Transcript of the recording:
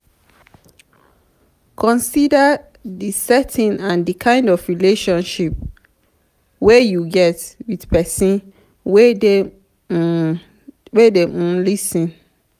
consider di setting and di kind relationship wey you get with person wey dey um lis ten